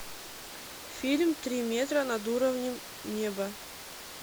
фильм три метра над уровнем неба